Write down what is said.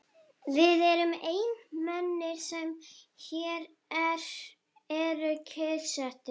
Við erum einu mennirnir, sem hér eru kyrrsettir.